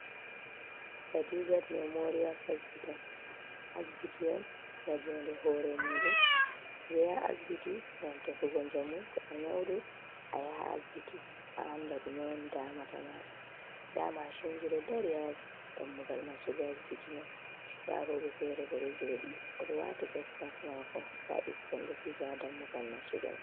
Khadijat memorial hospital. Asbiti on nga jounde hore muɗum ɓe ɗo yaha asbiti ngam tefugo njamu to a nyaudu a yaha asbiti a anda ɗume on damata mada, nda mashinji ɗo dari ha dammugal nastugo asbiti mai, nda rowɓe fere bo ɗo joɗi i wati fes mask mako nda ɓikkon ɗo fija dammugal nastugo mai.